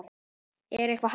Er eitthvað hæft í því?